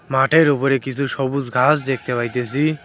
মাঠের উপরে কিছু সবুজ ঘাস দেখতে পাইতেছি।